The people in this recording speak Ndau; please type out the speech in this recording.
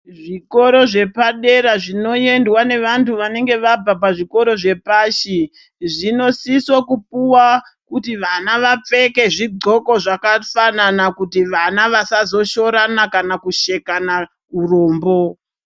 Zvikoro zvepadera zvinoendwa ngevantu vanenga vabva pazvikoro zvepashi zvinosise kupuwa kuti vana vapfeke zvidxoko zvakafanana kuti vana vasazoshoorana kana kushekana urombo.